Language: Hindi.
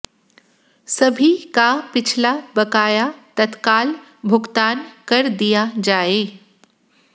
सभी का पिछला बकाया तत्काल भुगतान कर दिया जाए